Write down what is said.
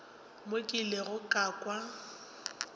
mo ke ilego ka kwa